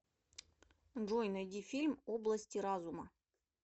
джой найди фильм области разума